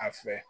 A fɛ